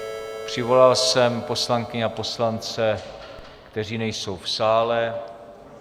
Přivolal jsem poslankyně a poslance, kteří nejsou v sále.